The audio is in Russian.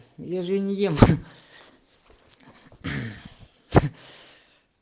я же её не ем